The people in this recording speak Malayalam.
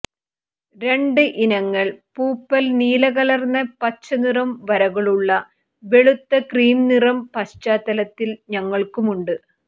രണ്ട് ഇനങ്ങൾ പൂപ്പൽ നീലകലർന്ന പച്ച നിറം വരകളുള്ള വെളുത്ത ക്രീം നിറം പശ്ചാത്തലത്തിൽ ഞങ്ങൾക്കുണ്ട്